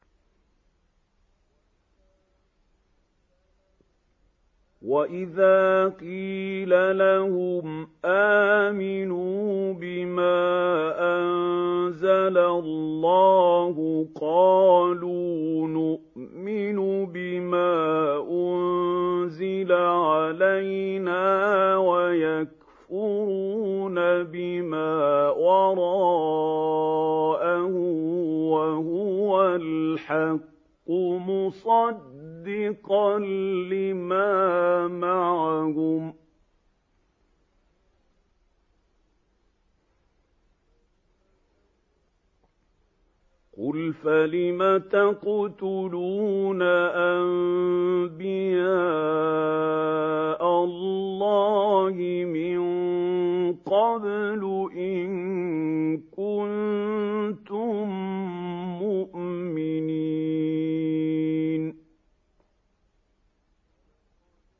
وَإِذَا قِيلَ لَهُمْ آمِنُوا بِمَا أَنزَلَ اللَّهُ قَالُوا نُؤْمِنُ بِمَا أُنزِلَ عَلَيْنَا وَيَكْفُرُونَ بِمَا وَرَاءَهُ وَهُوَ الْحَقُّ مُصَدِّقًا لِّمَا مَعَهُمْ ۗ قُلْ فَلِمَ تَقْتُلُونَ أَنبِيَاءَ اللَّهِ مِن قَبْلُ إِن كُنتُم مُّؤْمِنِينَ